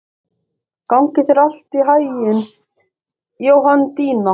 Gangi þér allt í haginn, Jóhanndína.